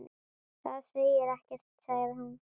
Það segir ekkert sagði hún.